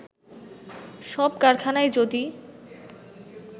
সব কারখানায় যদি